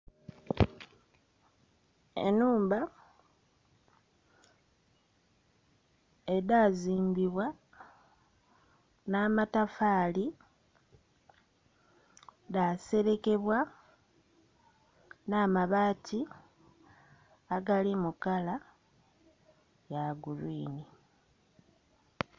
Enhumba edhazimbibwa n'amatafaali dhaserekebwa n'amabaati agali mukala gulwini.